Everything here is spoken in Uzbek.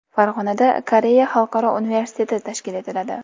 Farg‘onada Koreya xalqaro universiteti tashkil etiladi.